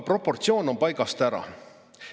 Proportsioon on paigast ära.